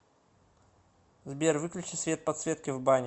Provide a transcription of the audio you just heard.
сбер выключи свет подсветки в бане